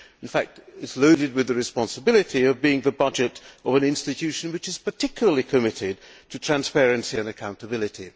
In fact, it is loaded with the responsibility of being the budget of an institution which is particularly committed to transparency and accountability.